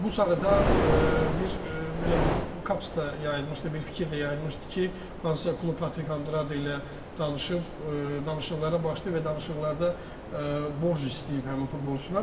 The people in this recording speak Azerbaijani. Bu sarıdan bir belə deyim, qapsda yayılmışdı, bir fikir də yayılmışdı ki, hansısa klub Patrik Andrade ilə danışıb, danışıqlara başlayıb və danışıqlarda borc istəyib həmin futbolçudan.